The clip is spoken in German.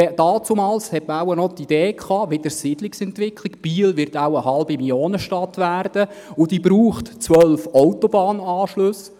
Damals hatte man wohl die Idee, Biel werde mal eine halbe Millionenstadt und brauche zwölf Autobahnanschlüsse.